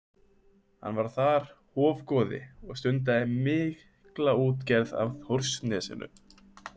Hann var þar hofgoði og stundaði mikla útgerð af Þórsnesinu.